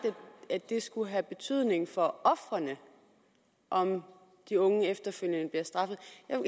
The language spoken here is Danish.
at det skulle have betydning for ofrene om de unge efterfølgende bliver straffet